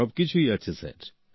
সবকিছুই আছে স্যার